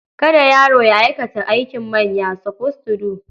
Kada yaro ya aikata aikin manya. suppose to do.